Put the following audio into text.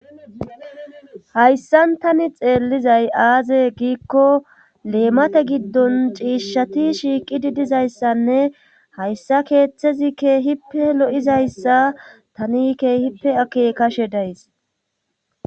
hayssan tani xeellizay aaze giikko leemate giddon ciishshati shiiqidi dizayssanne hayssa keeththezikke hippe lo7izayssa tanikke hippe ake kashe days